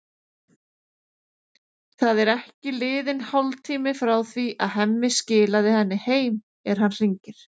Það er ekki liðinn hálftími frá því að Hemmi skilaði henni heim er hann hringir.